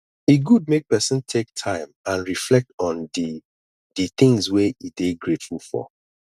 e good make pesin take time and reflect on di di things wey e dey grateful for